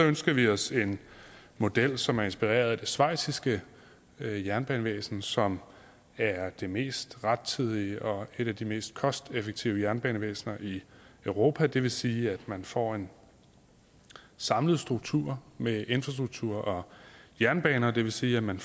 ønsker vi os en model som er inspireret af det schweiziske jernbanevæsen som er det mest rettidige og et af de mest kosteffektive jernbanevæsener i europa og det vil sige at man får en samlet struktur med infrastruktur og jernbane og det vil sige at man